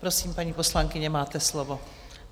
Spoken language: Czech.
Prosím, paní poslankyně, máte slovo.